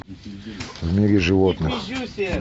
в мире животных